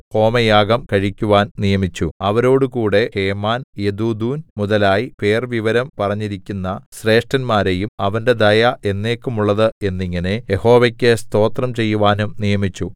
ഹോമയാഗം കഴിക്കുവാൻ നിയമിച്ചു അവരോടുകൂടെ ഹേമാൻ യെദൂഥൂൻ മുതലായി പേർവിവരം പറഞ്ഞിരിക്കുന്ന ശ്രേഷ്ഠന്മാരെയും അവന്റെ ദയ എന്നേക്കുമുള്ളതു എന്നിങ്ങനെ യഹോവക്കു സ്തോത്രം ചെയ്യുവാനും നിയമിച്ചു